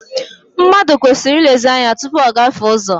Mmadụ kwesịrị ilezi ányá tụpụ ọ gafee ụzọ.